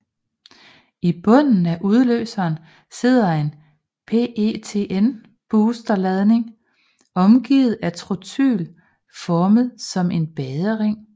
I bunden af udløseren sidder en PETN booster ladning omgivet af trotyl formet som en badering